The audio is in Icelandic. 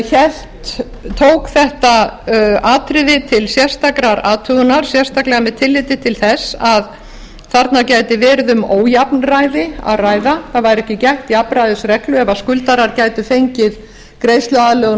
tók þetta atriði til sérstakrar athugunar sérstaklega með tilliti til þess að þarna gæti verið um ójafnræði að ræða það væri ekki gætt jafnræðisreglu ef skuldarar gætu fengið greiðsluaðlögun